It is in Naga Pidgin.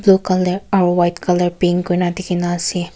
dukan te white colour paint kori na dekhi na ase.